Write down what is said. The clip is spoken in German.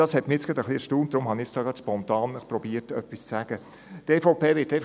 Das hat mich jetzt wirklich etwas erstaunt, und deshalb habe ich versucht, spontan etwas dazu zu sagen.